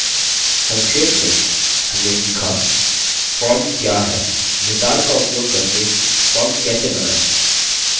संक्षेप में हमने सीखाform क्या है wizard का उपयोग करके form कैसे बनायें